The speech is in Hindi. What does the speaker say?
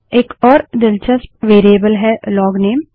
एक और दिलचस्प वेरिएबल है लोगनेम